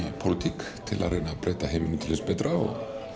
pólitík til að reyna að breyta heiminum til hins betra og